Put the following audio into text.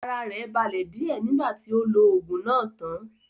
Ara rẹ̀ balẹ̀ díẹ̀ nígbà tí ó lo oògùn náà tán